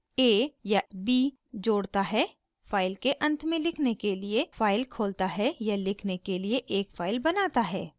a या ab = जोड़ता है फाइल के अंत में लिखने के लिए फाइल खोलता है या लिखने के लिए एक फाइल बनाता है